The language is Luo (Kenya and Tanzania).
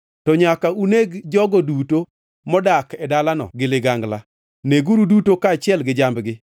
to nyaka uneg jogo duto modak e dalano gi ligangla. Neg-giuru duto kaachiel gi jambgi.